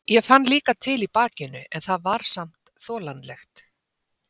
Ég fann líka til í bakinu en það var samt þolanlegt.